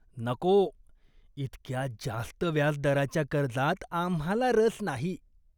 नको! इतक्या जास्त व्याजदराच्या कर्जात आम्हाला रस नाही.